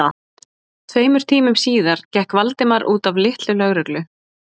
Tveimur tímum síðar gekk Valdimar út af litlu lögreglu